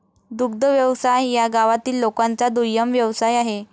दुग्ध व्यवसाय या गावातील लोकांचा दुय्यम व्यवसाय आहे